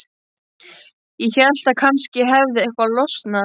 Ég hélt að kannski hefði eitthvað losnað.